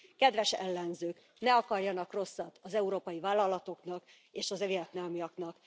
Kedves ellenzők, ne akarjanak rosszat az európai vállalatoknak és a vietnámiaknak.